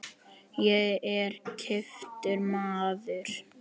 Ég er giftur maður.